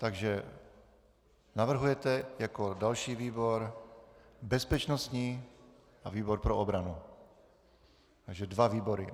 Takže navrhujete jako další výbor bezpečnostní a výbor pro obranu, takže dva výbory.